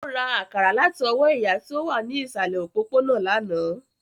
Ó ra àkàrà láti ọwọ́ ìyá tí ó wà ní ìsàlẹ̀ òpópónà lánàá